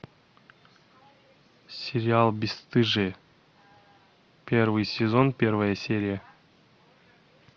сериал бесстыжие первый сезон первая серия